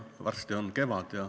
Varsti on kevad.